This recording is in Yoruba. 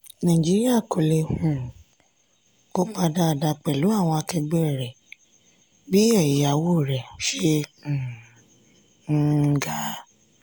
naijiria kọ́ni lè um kopa dáàda pelu àwọn ákẹgbẹ bí ẹ̀yáwó rẹ ṣe um ń ń ga.